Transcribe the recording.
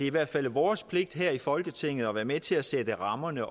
i hvert fald vores pligt her i folketinget at være med til at sætte rammerne